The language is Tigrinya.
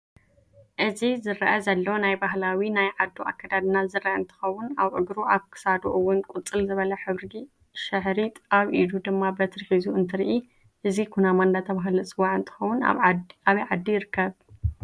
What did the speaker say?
እዚ ዝርአ ዘሎ ናይ ባህላዊ ናይ ዓዱ ኣከዳድና ዝርአ እንትከውን አብ እግሩ ኣብ ክሳዱ እውን ቁፅልዝበለ ሕብሪ ሽሐሪጥ ኣብ ኢዱ ድማ በትሪ ሕዙ እንትርኢ እዚ ኩናማ እዳተበሃለ ዝፅዋዕ እንትከውን ኣብ ዓዲ ይርከብ ይኮን?